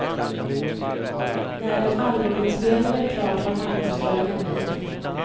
När en albuminspelning är klar tar marknadsföringen vid.